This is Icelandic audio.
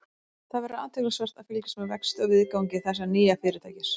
Það verður athyglisvert að fylgjast með vexti og viðgangi þessa nýja fyrirtækis.